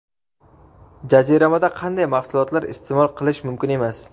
Jaziramada qanday mahsulotlar iste’mol qilish mumkin emas?.